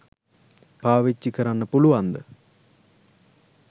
පාවිච්චි කරන්න පුළුවන්දැ?